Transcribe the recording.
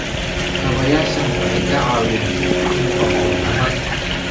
Kaabayaashani waxay ka caawiyaan jidhka inuu abuuro tamar.